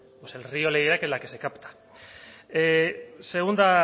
pues el río le dirá que la que se capta segunda